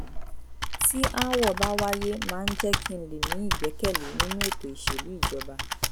tí aáwọ̀ bá wáyé máa ń jẹ́ kí n lè ní ìgbẹ́kẹ̀lé nínú ètò ìṣèlú ìjọba